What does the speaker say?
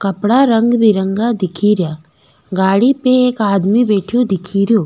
कपडा रंग बिरंगा दिखेरया गाड़ी पे एक आदमी बैठ्यो दिखेरयो।